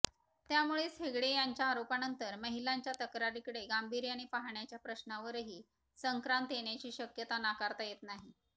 त्यामुळेच हेगडे यांच्या आरोपानंतर महिलांच्या तक्रारीकडे गांभीर्याने पाहण्याच्या प्रश्नावरही संक्रांत येण्याची शक्यता नाकारता येत नाही